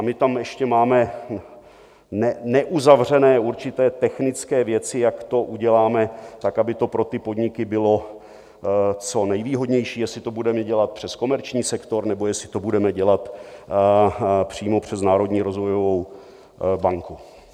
A my tam ještě máme neuzavřené určité technické věci, jak to uděláme tak, aby to pro ty podniky bylo co nejvýhodnější, jestli to budeme dělat přes komerční sektor, nebo jestli to budeme dělat přímo přes národní rozvojovou banku.